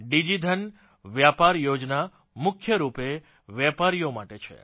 Digiધન વેપાર યોજના મુખ્ય રૂપે વેપારીઓ માટે છે